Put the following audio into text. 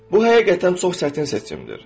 Bu həqiqətən çox çətin seçimdir.